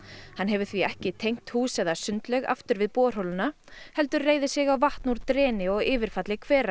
hann hefur því ekki tengt hús eða sundlaug aftur við borholuna heldur reiðir sig á vatn úr dreni og yfirfalli hvera